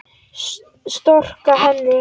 Storka henni.